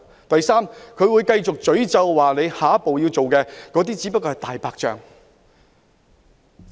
第三，他們會繼續責罵下一步所做的仍然只是"大白象"。